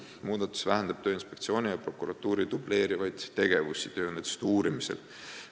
Muudatus vähendab Tööinspektsiooni ja prokuratuuri dubleerivaid tegevusi tööõnnetuste uurimisel.